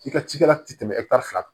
I ka cikɛla tɛ tɛmɛ fila kan